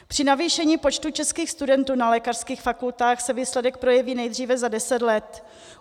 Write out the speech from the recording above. Při navýšení počtu českých studentů na lékařských fakultách se výsledek projeví nejdříve za deset let.